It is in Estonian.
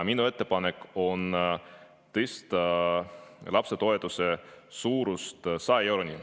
Minu ettepanek on tõsta lapsetoetuse suurus 100 euroni.